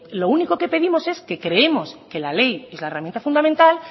lo único que pedimos es que creemos que la ley es la herramienta fundamental